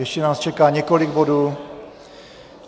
Ještě nás čeká několik bodů.